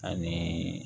Ani